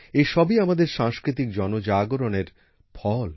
এসবই আমাদের সাংস্কৃতিক জনজাগরণের ফল